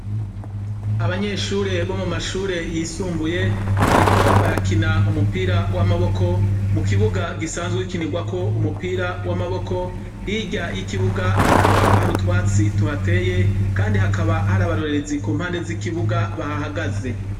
Abanyeshure bo mu mashure yisumbuye bariko barakina umupira w'amaboko mu kibuga gisanzwe gikinirwako umupira w'amaboko. Hirya y'ikibuga hakaba hari utwatsi tuhateye kandi hakaba hari abarorerezi ku mpande z'ikibuga, bahahagaze.